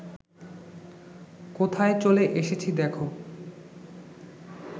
কোথায় চলে এসেছি দ্যাখো